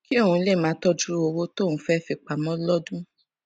kí òun lè máa tójú owó tóun fé fi pamó lódún